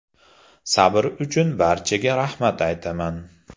Sabr uchun barchaga rahmat aytaman.